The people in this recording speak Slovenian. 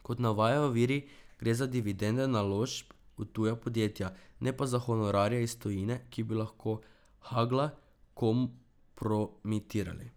Kot navajajo viri, gre za dividende naložb v tuja podjetja, ne pa za honorarje iz tujine, ki bi lahko Hagla kompromitirali.